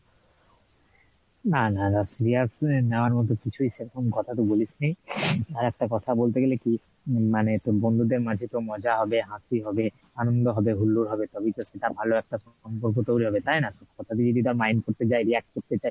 না না না serious নেওয়ার মত কিছুই সেরকম কথা তো বলিসনি আর একটা কথা বলতে গেলে কি মানে তোর বন্ধুদের মাঝে তো মজা হবে হাসি হবে আনন্দ হবে হুল্লোড় হবে তবেই তো সেটা ভালো একটা সম্পর্ক তৈরী হবে তাই না? সব কথা যদি mind করতে যাই react করতে যাই